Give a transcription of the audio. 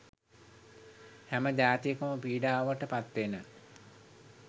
හැම ජාතියකම පීඩාවට පත් වෙන.